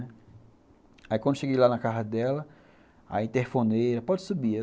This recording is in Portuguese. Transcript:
Aí, quando eu cheguei lá na casa dela, aí interfonei, ela falou, pode subir.